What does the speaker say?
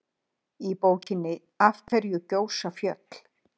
Í bókinni Af hverju gjósa fjöll?